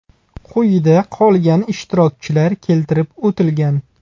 Quyida qolgan ishtirokchilar keltirib o‘tilgan.